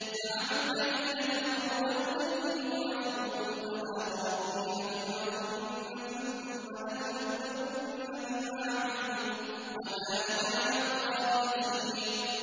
زَعَمَ الَّذِينَ كَفَرُوا أَن لَّن يُبْعَثُوا ۚ قُلْ بَلَىٰ وَرَبِّي لَتُبْعَثُنَّ ثُمَّ لَتُنَبَّؤُنَّ بِمَا عَمِلْتُمْ ۚ وَذَٰلِكَ عَلَى اللَّهِ يَسِيرٌ